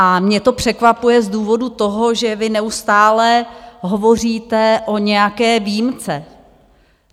A mě to překvapuje z důvodu toho, že vy neustále hovoříte o nějaké výjimce.